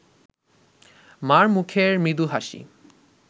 মার মুখের মৃদু হাসি